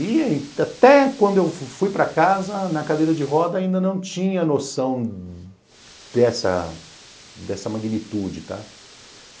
E até quando eu fui para casa, na cadeira de roda, ainda não tinha noção dessa magnitude, tá?